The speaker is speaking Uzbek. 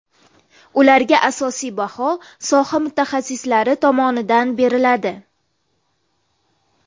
Ularga asosiy baho soha mutaxassislari tomonidan beriladi.